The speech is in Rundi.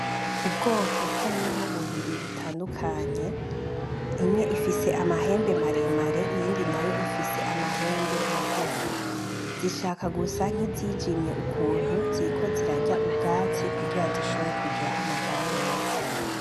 Ubwoko bw'inka bubiri butandukanye ,imwe ifise amahembe maremare iyindi Nayo ifise amahembe magufi; zishaka gusa nk'izijimye ukuntu ziriko zirarya ubwatsi kugira zishobore kugira amagara meza.